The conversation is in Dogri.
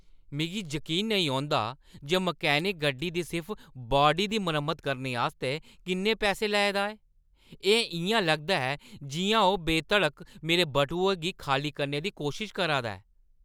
मिगी जकीन निं औंदा जे मैकेनिक गड्डी दी सिर्फ बाडी दी मरम्मता आस्तै किन्ने पैसे लै दा ऐ! एह् इʼयां लगदा ऐ जिʼयां ओह् बेधड़क मेरे बटुए गी खाल्ली करने दी कोशश करा दा ऐ!